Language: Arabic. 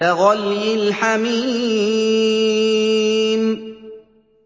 كَغَلْيِ الْحَمِيمِ